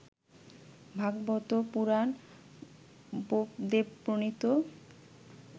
Bhagavata Purana বোপদেবপ্রণীত